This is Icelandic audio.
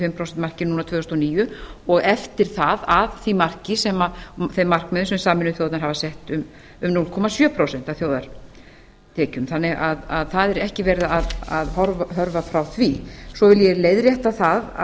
fimm prósent marki núna tvö þúsund og níu og eftir það að þeim markmiðum sem sameinuðu þjóðirnar hafa sett um hálft prósent af þjóðartekjum þannig að það er ekki verið að hörfa frá því svo vil ég leiðrétta það að